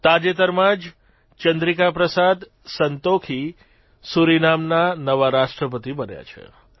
તાજેતરમાં જ શ્રી ચંદ્રિકાપ્રસાદ સંતોખી સુરિનામના નવા રાષ્ટ્રપતિ બન્યા છે